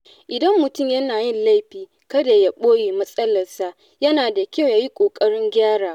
Idan mutum yana yin laifi, kada ya ɓoye matsalarsa, yana da kyau yayi ƙoƙarin gyarawa.